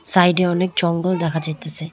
Side -এ অনেক জঙ্গল দেখা যাইতেসে।